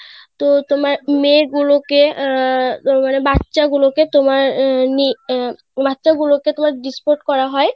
তো তোমার মেয়ে গুলোকে আহ মানে বাচ্চা গুলো কে তোমার আহ বাচ্চা গুলোকে তোমার Disport করা হয়.